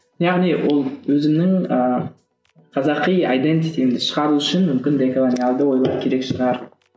яғни ол өзімнің ыыы қазақи шығару үшін мүмкін деколониялды ойлау керек шығар